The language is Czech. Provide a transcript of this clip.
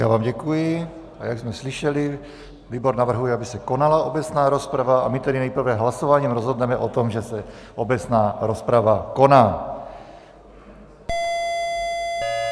Já vám děkuji, a jak jsme slyšeli, výbor navrhuje, aby se konala obecná rozprava, a my tedy nejprve hlasováním rozhodneme o tom, že se obecná rozprava koná.